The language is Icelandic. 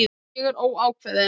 Ég er óákveðin.